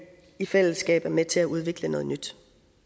i fællesskab er med til at udvikle noget nyt